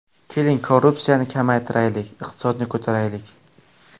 Keling, korrupsiyani kamaytiraylik, iqtisodni ko‘taraylik.